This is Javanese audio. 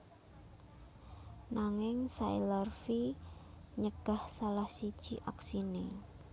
Nanging Sailor V nyegah salah siji aksine